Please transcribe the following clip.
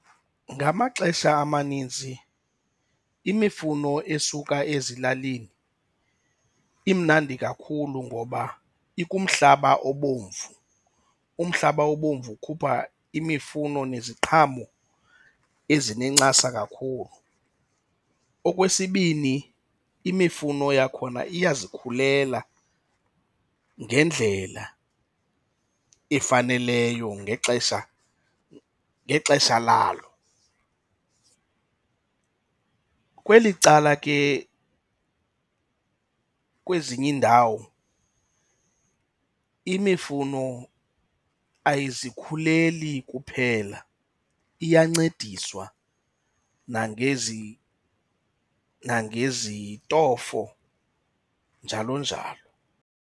Ngamaxesha amanintsi imifuno esuka ezilalini imnandi kakhulu ngoba ikumhlaba obomvu. Umhlaba obomvu ukhupha imifuno neziqhamo ezinencasa kakhulu. Okwesibini imifuno yakhona iyazikhulela ngendlela efaneleyo ngexesha ngexesha lalo. Kweli cala ke kwezinye iindawo imifuno ayizikhuleli kuphela, iyancediswa nangezintofo, njalo njalo.